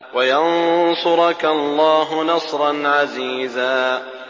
وَيَنصُرَكَ اللَّهُ نَصْرًا عَزِيزًا